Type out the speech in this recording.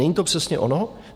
Není to přesně ono?